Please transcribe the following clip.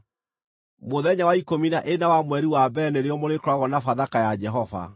“ ‘Mũthenya wa ikũmi na ĩna wa mweri wa mbere nĩrĩo mũrĩkoragwo na Bathaka ya Jehova.